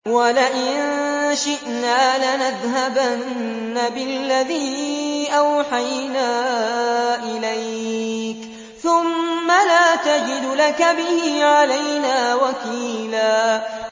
وَلَئِن شِئْنَا لَنَذْهَبَنَّ بِالَّذِي أَوْحَيْنَا إِلَيْكَ ثُمَّ لَا تَجِدُ لَكَ بِهِ عَلَيْنَا وَكِيلًا